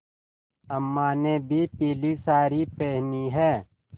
अम्मा ने भी पीली सारी पेहनी है